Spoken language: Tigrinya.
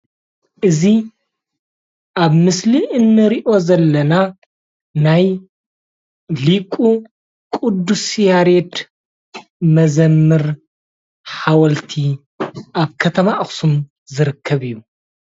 እዚ ኣብ ምስሊ እንሪኦ ዘለና ናይ ሊቁ ቁዱስ ያሬድ መዘምር ሓወልቲ ኣብ ከተማ ኣክሱም ዝርከብ እዩ፡፡